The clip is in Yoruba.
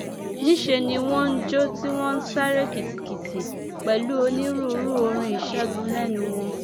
níṣẹ ni wọn ń jó tí wọn ń sáré kìtìkìtì pẹlú onírúurú orin ìṣègùn lẹnu wọn